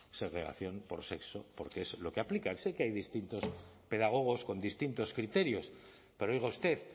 segregación por sexo porque es lo que aplican sé que hay distintos pedagogos con distintos criterios pero oiga usted